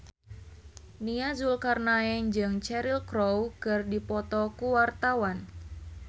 Nia Zulkarnaen jeung Cheryl Crow keur dipoto ku wartawan